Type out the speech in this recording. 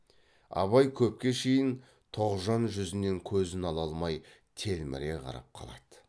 абай көпке шейін тоғжан жүзінен көзін ала алмай телміре қарап қалады